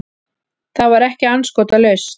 Það var ekki andskotalaust.